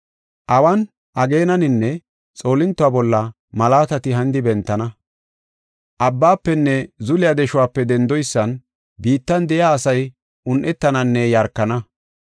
“Awan, ageenaninne, xoolintota bolla malaatati hanidi bentana. Abbaafenne zuliya deshuwape dendoysan biittan de7iya asay un7etananne yarkana.